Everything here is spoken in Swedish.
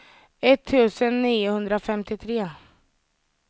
etttusen niohundrafemtiotre